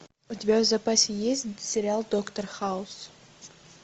у тебя в запасе есть сериал доктор хаус